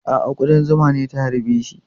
A'a, kuɗan zuma ce ta harbe shi.